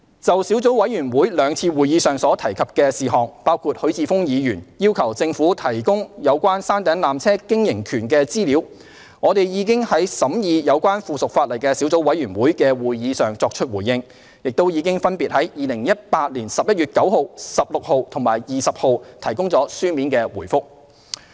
就小組委員會兩次會議上所提事項，包括許智峯議員要求政府提供有關山頂纜車經營權的資料，我們已於審議有關附屬法例的小組委員會的會議上作出回應，亦已分別於2018年11月9日、16日及20日提供了書面回覆。